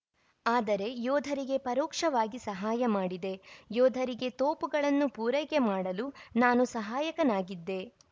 ಆದರೆ ಯೋಧರಿಗೆ ಪರೋಕ್ಷವಾಗಿ ಸಹಾಯ ಮಾಡಿದೆ ಯೋಧರಿಗೆ ತೋಪುಗಳನ್ನು ಪೂರೈಕೆ ಮಾಡಲು ನಾನು ಸಹಾಯಕನಾಗಿದ್ದೆ